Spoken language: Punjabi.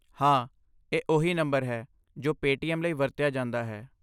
ਹਾਂ, ਇਹ ਉਹੀ ਨੰਬਰ ਹੈ ਜੋ ਪੇਟੀਐਮ ਲਈ ਵਰਤਿਆ ਜਾਂਦਾ ਹੈ।